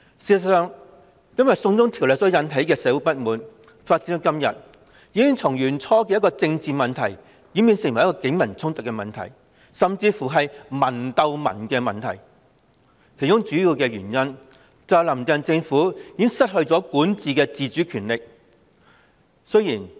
事實上，因"送中條例"而引起的社會不滿發展至今，已從最初的政治問題演變成警民衝突的問題，甚至是"民鬥民"的問題，其主要原因是"林鄭"政府已失去管治的自主權力。